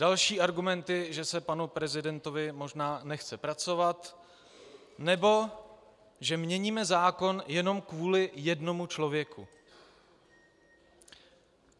Další argumenty, že se panu prezidentovi možná nechce pracovat, nebo že měníme zákon jenom kvůli jednomu člověku.